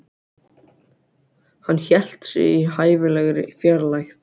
Hann hélt sig í hæfilegri fjarlægð.